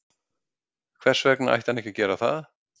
Hvers vegna ætti hann ekki að gera það?